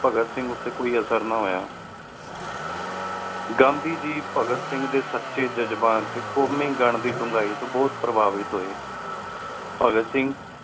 ਭਾਘਾਤ ਸਿੰਘ ਊਟੀ ਕੋਈ ਅਸਰ ਨਾ ਹੋਯਾ ਗਾਂਧੀ ਗੀ ਭਾਘਾਤ ਸਿੰਘ ਦੇ ਸੱਚੇ ਜਜਬਾਤ ਤੇ ਕੋਮੀਗਣ ਦੀ ਡੁੰਗਾਈ ਤੋਂ ਬੋਹਤ ਪ੍ਰਭਾਵਿਤ ਹੋਏ। ਭਗਤ ਸਿੰਘ